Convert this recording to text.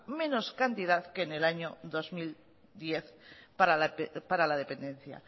menos cantidad que en el año dos mil diez para la dependencia